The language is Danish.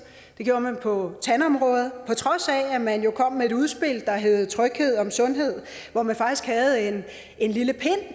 det gjorde man på tandområdet på trods af at man jo kom med et udspil der hed tryghed om sundhed hvor man faktisk havde en lille pind